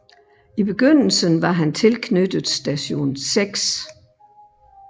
I begyndelsen var han tilknyttet Station 6